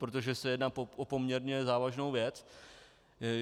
Protože se jedná o poměrně závažnou věc.